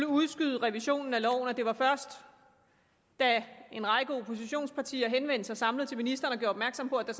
udskyde revisionen af loven og først da en række oppositionspartier henvendte sig samlet til ministeren og gjorde opmærksom på at der